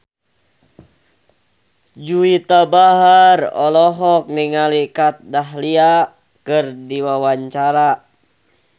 Juwita Bahar olohok ningali Kat Dahlia keur diwawancara